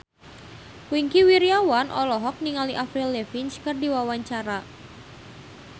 Wingky Wiryawan olohok ningali Avril Lavigne keur diwawancara